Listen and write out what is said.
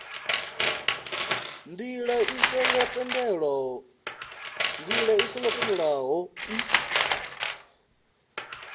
ndila i songo tendelwaho o